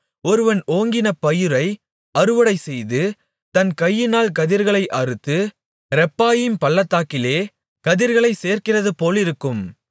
ஒருவன் ஓங்கின பயிரை அறுவடைசெய்து தன் கையினால் கதிர்களை அறுத்து ரெப்பாயீம் பள்ளத்தாக்கிலே கதிர்களைச் சேர்க்கிறதுபோலிருக்கும்